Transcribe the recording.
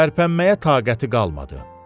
Tərpənməyə taqəti qalmadı.